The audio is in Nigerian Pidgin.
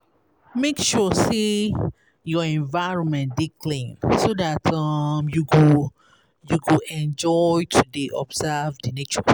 Make sure say your environment dey clean so that um you go you go enjoy to dey observe di nature